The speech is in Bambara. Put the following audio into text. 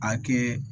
A kɛ